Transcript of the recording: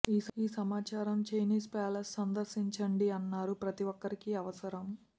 ఈ సమాచారం Chinese palace సందర్శించండి అన్నారు ప్రతి ఒక్కరికీ అవసరం